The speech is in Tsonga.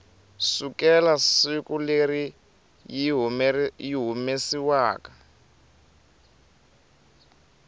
sukela siku leri yi humesiwaku